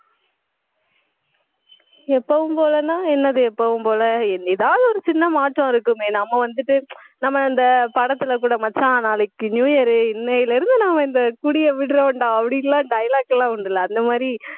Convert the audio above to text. எப்பவும் போலன்னா, என்னது எப்பவும் போல ஏதாவது ஒரு சின்ன மாற்றம் இருக்குமே. நம்ம வந்துட்டு நம்ம இந்த படத்துல கூட மச்சான், நாளைக்கு new year இன்னையிலிருந்து நாம இந்த குடியை விடுறோம்டா அப்படின்னுலாம் dialogue எல்லாம் உண்டுல்ல அந்த மாரி